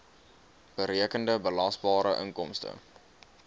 berekende belasbare inkomste